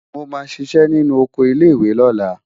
Mo máa ṣiṣẹ́ nínú oko ilé-ìwé lọ́la.